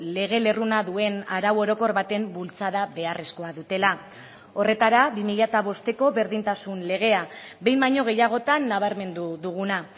lege lerruna duen arau orokor baten bultzada beharrezkoa dutela horretara bi mila bosteko berdintasun legea behin baino gehiagotan nabarmendu duguna